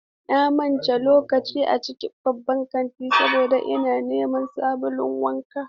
Na mance lokacin a cikin babban kantin saboda ina neman sabulun wanka.